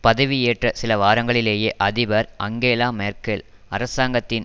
பதவி ஏற்ற சில வாரங்களிலேயே அதிபர் அங்கேலா மேர்க்கெல் அரசாங்கத்தின்